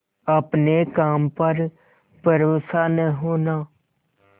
अपने काम पर भरोसा न होना